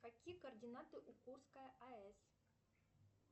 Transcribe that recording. какие координаты у курской аэс